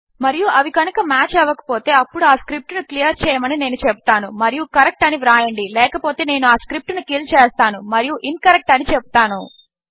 మరియు అవి కనుక మాచ్ అవ్వక పోతే అప్పుడు ఆ స్క్రిప్ట్ ను క్లియర్ చేయమని నేను చెపుతాను మరియు కరెక్ట్ అని వ్రాయండి లేకపోతే నేను ఆ స్క్రిప్ట్ ను కిల్ చేస్తాను మరియు ఇన్కరెక్ట్ అని చెపుతాను